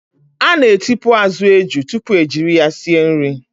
A na-etipu azụ eju tupu ejiri ya sie nri.